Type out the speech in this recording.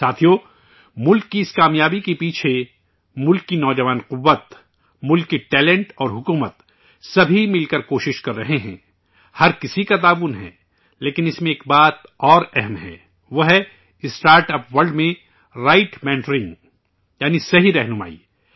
ساتھیو، ملک کی اس کامیابی کے پیچھے، ملک کی نوجوان طاقت ، ملک کے ٹیلینٹ اور سرکار، سبھی مل کر یہ کوشش کررہے ہیں، ہر کسی کا تعاون ہے، لیکن اس میں ایک اور اہم بات ہے، وہ ہے، اسٹارٹاپ ورلڈ میں، رائٹ مینٹرنگ ؛ یعنی، صحیح رہنمائی